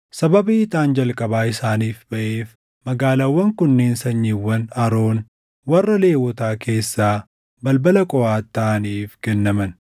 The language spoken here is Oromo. sababii ixaan jalqabaa isaaniif baʼeef magaalaawwan kunneen sanyiiwwan Aroon warra Lewwotaa keessaa balbala Qohaati taʼaniif kennaman: